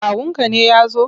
Kawunka ne ya zo?